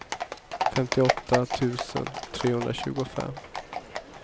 femtioåtta tusen trehundratjugofem